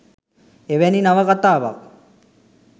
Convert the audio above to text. එවැනි නවකතාවක්